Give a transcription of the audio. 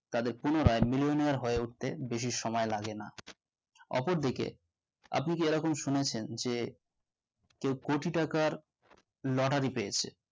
তাদের পুনো রাজ্ billionaire হয়ে উঠতে বেশি সময় লাগে না অপরদিকে আপনি কি এরকম শুনেছেন যে তো কোটি টাকার lottery পেয়েছে